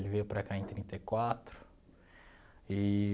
Ele veio para cá em trinta e quatro eee